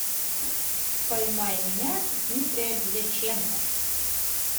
поймай меня дмитрия дьяченко